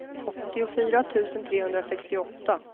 åttiofyra tusen trehundrasextioåtta